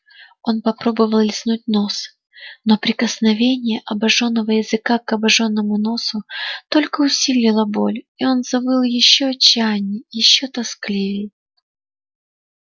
он попробовал лизнуть нос но прикосновение обоженного языка к обожжённому носу только усилило боль и он завыл ещё отчаянней ещё тоскливей